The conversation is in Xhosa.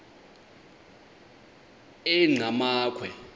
enqgamakhwe